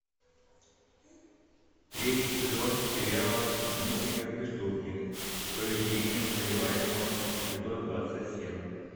третий сезон сериала мыслить как преступник поведение подозреваемого эпизод двадцать семь